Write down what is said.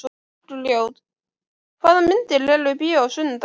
Bergljót, hvaða myndir eru í bíó á sunnudaginn?